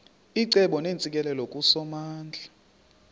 icebo neentsikelelo kusomandla